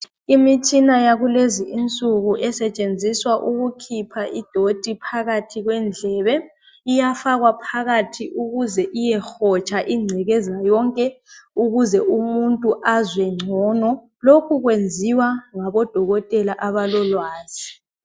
Imitshina yakulezi insuku esetshenziswa ukukhipha ingcekeza phakathi kwendlebe iyafakwa phakathi ukuze iyehotsha ingcekeza yonke ukuze umuntu azwe ngcono lokhu kwenziwa ngabodokotela abalolwazi.